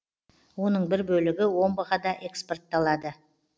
оның бір бөлігі омбыға да экспортталады